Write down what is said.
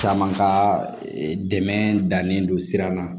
Caman ka dɛmɛ dannen don sira ma